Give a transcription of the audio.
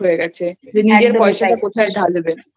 হয়ে গেছে নিজের পয়সা টা কোথায় ঢালবে।